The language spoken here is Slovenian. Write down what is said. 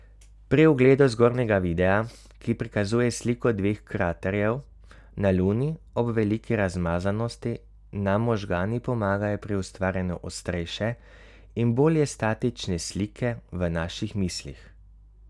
Pri ogledu zgornjega videa, ki prikazuje sliko dveh kraterjev na Luni ob veliki razmazanosti, nam možgani pomagajo pri ustvarjanju ostrejše in bolje statične slike v naših mislih.